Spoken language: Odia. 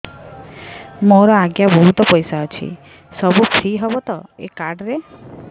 ମୋର ଆଜ୍ଞା ବହୁତ ପଇସା ଅଛି ସବୁ ଫ୍ରି ହବ ତ ଏ କାର୍ଡ ରେ